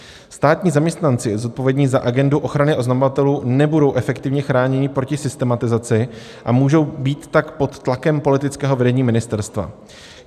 Státní zaměstnanci zodpovědní za agendu ochrany oznamovatelů nebudou efektivně chráněni proti systematizaci a můžou být tak pod tlakem politického vedení ministerstva.